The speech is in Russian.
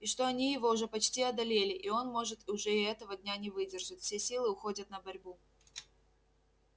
и что они его уже почти одолели и он может уже и этого дня не выдержит все силы уходят на борьбу